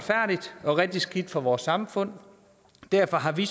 rigtig skidt for vores samfund og derfor har vi